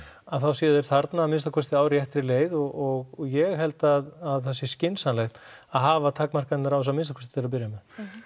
að þá séu þeir þarna að minnsta kosti á réttri leið og ég held að það sé skynsamlegt að hafa takmarkanir á þessu að minnsta kosti til að byrja með